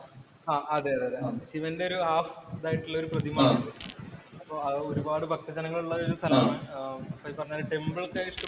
ആഹ് അതെ അതേ ശിവന്‍റെ ഒരു ഹാഫ് ഇതായിട്ടുള്ള ഒരു പ്രതിമ ഉണ്ട്. അപ്പോ അത് ഒരുപാട് ഭക്തജനങ്ങൾ ഉള്ള ഒരു സ്ഥലാണ്.